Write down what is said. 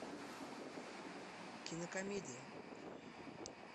кинокомедия